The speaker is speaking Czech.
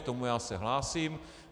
K tomu já se hlásím.